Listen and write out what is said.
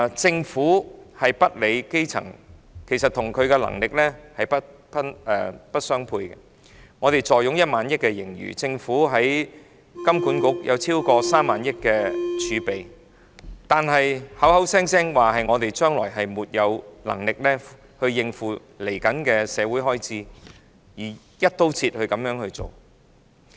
政府涼薄、漠視基層，與其能力實不相稱，我們坐擁1萬億元盈餘，政府在香港金融管理局有超過3萬億元儲備，但卻聲稱沒有能力應付日後的社會開支，然後以"一刀切"的方式處理。